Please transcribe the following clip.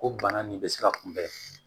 Ko bana nin bɛ se ka kunbɛn